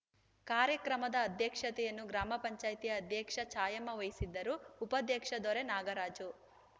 ಕಾರ್ಯಕ್ರಮದ ಅಧ್ಯಕ್ಷತೆಯನ್ನು ಗ್ರಾಮ ಪಂಚಾಯಿತಿ ಅಧ್ಯಕ್ಷೆ ಛಾಯಮ್ಮ ವಹಿಸಿದ್ದರು ಉಪಾಧ್ಯಕ್ಷ ದೊರೆ ನಾಗರಾಜು